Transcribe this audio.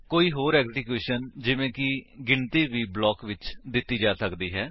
ਕੋਈ ਹੋਰ ਐਗਜ਼ੀਕਿਊਸ਼ਨ ਜਿਵੇਂ ਕਿ ਗਿਣਤੀ ਵੀ ਬਲਾਕ ਵਿੱਚ ਦਿੱਤੀ ਜਾ ਸਕਦੀ ਹੈ